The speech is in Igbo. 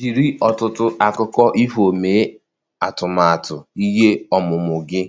Jiri ọtụtụ akụkọ ifo mee atụmatụ ihe ọmụmụ gị